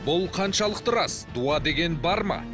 бұл қаншалықты рас дуа деген бар ма